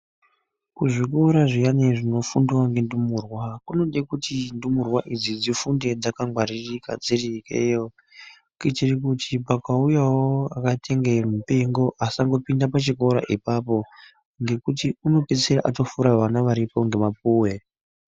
Kuzvikora zviyani zvinofundwa ngendumurwa kunode kuti ndumurwa idzi dzifunde dzakangwaririka dziri ikeyo. Kuitire kuti pakauyawo akaita inge mupengo asangopinda pachikora ipapo ngekuti unopedzisira atopfura vana varipo ngemapuwe.